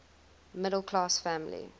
middle class family